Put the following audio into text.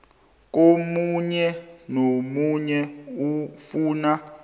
komunye nomunye ofuna